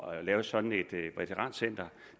at lave sådan et veterancenter